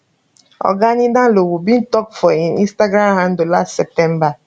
oga ninalowo bin tok for im instagram handle last september